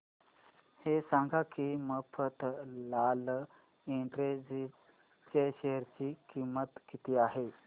हे सांगा की मफतलाल इंडस्ट्रीज च्या शेअर ची किंमत किती आहे